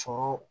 Sɔrɔ